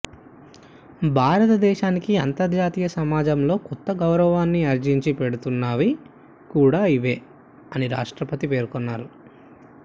భారతదేశానికి అంతర్జాతీయ సమాజంలో కొత్త గౌరవాన్ని ఆర్జించి పెడుతున్నవి కూడా ఇవే అని రాష్ట్రపతి పేర్కొన్నారు